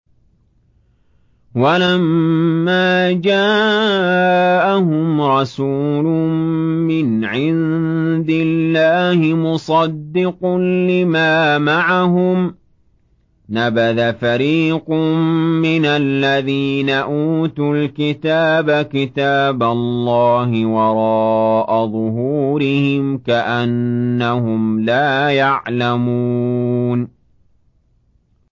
وَلَمَّا جَاءَهُمْ رَسُولٌ مِّنْ عِندِ اللَّهِ مُصَدِّقٌ لِّمَا مَعَهُمْ نَبَذَ فَرِيقٌ مِّنَ الَّذِينَ أُوتُوا الْكِتَابَ كِتَابَ اللَّهِ وَرَاءَ ظُهُورِهِمْ كَأَنَّهُمْ لَا يَعْلَمُونَ